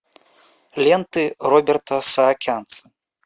ленты роберта саакянца